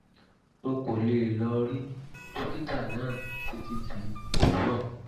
n kò lè lọ rí dókítà náà títí di òwúrọ̀